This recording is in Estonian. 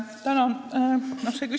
Tänan!